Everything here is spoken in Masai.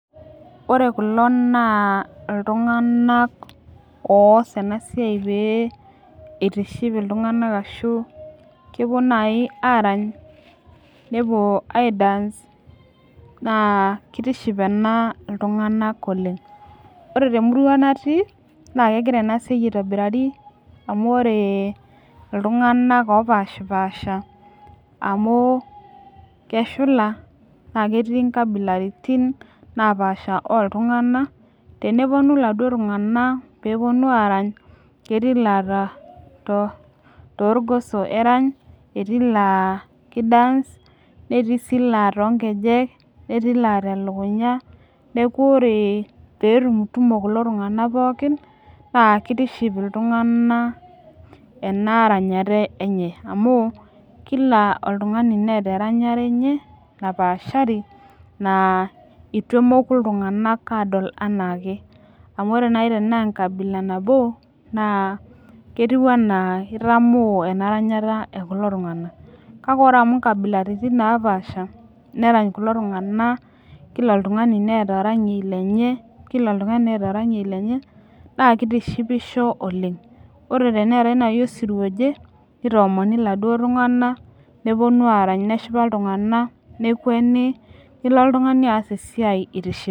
Ore kulo naa iltunganak oos ena siai pee itiship iltunganak ashu kepuo naaji aarany, nepuo ai dance naa kitiship ena iltunganak oleng. ore temurua natii n kegira ena siai aitobiraki amu ore iltunganak oopashipaasha amu keshuka naa ketii nkabilaritin napaash ooltungana. tenepuonu iladuo tunganak peepuonu aarany. ketii ilaa toorgoso erany, etii ilaa ki dance netii sii ilaa too nkeek. netii ilaa telukunya. neekh ore pee etumutumo kulo tunganak pookin naa kitiship iltunganak ena eranyare enye. amu Kila oltungani neeta eranyare enye napaashari naa eitiu anaa iatamoo ena ranyata ekulo tunganak. kake ore amu nkabilaritin napaasha. nerany kulo tunganak. kila oltungani neeta oranyei lenye. naa kitishipisho oleng. ore teneetae naaji osirua oje. nitoomoni oladuoo tungana. nepuonu aaramy neshipa iltungana. nekueni .Niko oltungani aas esiai itishipe.